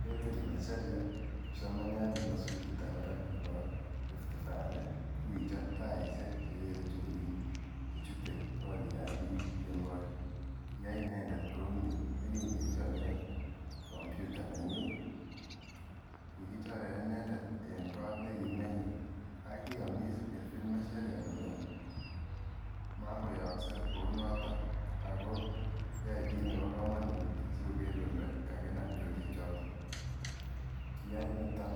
Kelvin masharia kipsomaniat nebo sukulit ab barak nebo Rifty valley ko kichop taishek chekerke chorik chechute korik an bik kemboi, kiyai inendet kouni yekin kechoren computer nenyin. Kikichore inendet en kot nekimenye ak kiyomiss kelvin masharia kole mokoyoose kounoton ako yoe kit nebo komonut asikoker kole kakinam chorik choton, kiyoe niton